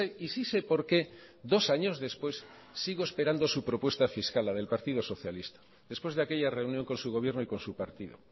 y sí sé porque dos años después sigo esperando su propuesta fiscal la del partido socialista después de aquella reunión con su gobierno y con su partido